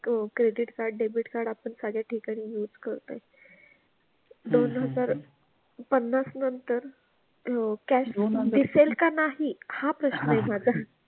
क credit card, debit card आपण साऱ्या ठिकाणी use करतोय दोन हजार पन्नास नंतर अह cash दिसेल का नाही हा प्रश्न आहे माझा.